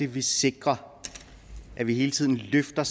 vi sikrer at vi hele tiden løfter